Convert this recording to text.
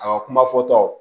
A kuma fɔ taw